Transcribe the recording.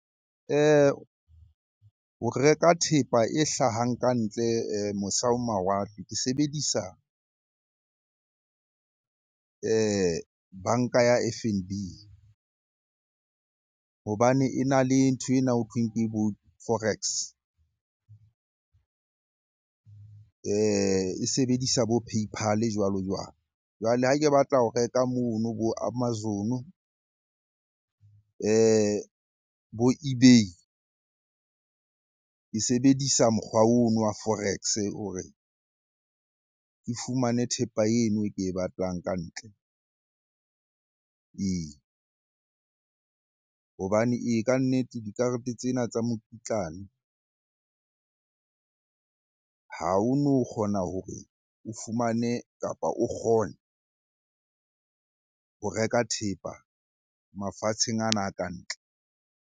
Ho reka thepa e hlahang ka ntle mose ho mawatle, ke sebedisa banka ya F_N_B hobane e na le ntho ena hothweng ke bo forex. E sebedisa bo paypal jwalo-jwalo. Jwale ha ke batla ho reka mono bo amazon-o bo ebay, ke sebedisa mokgwa ono wa forex hore ke fumane thepa eno e ke e batlang ka ntle ee. Hobane ee, kannete dikarete tsena tsa mokitlane ha o no kgona hore o fumane, kapa o kgone ho reka thepa mafatsheng ana a ka ntle.